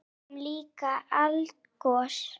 Við sáum líka eldgos!